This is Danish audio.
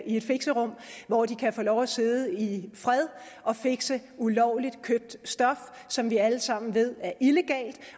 et fixerum hvor de kan få lov at sidde i fred og fixe ulovligt købt stof som vi alle sammen ved er illegalt